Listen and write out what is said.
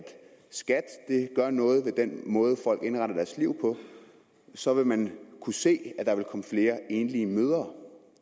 skat gør noget ved den måde folk indretter deres liv på så vil man kunne se at der vil komme flere enlige mødre